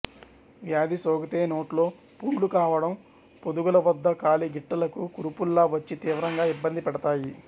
వ్యాధి సోకితేనోట్లో పుండ్లు కావడం పొదుగుల వద్ద కాలి గిట్టలకు కురుపుల్లా వచ్చి తీవ్రంగా ఇబ్బంది పెడతాయి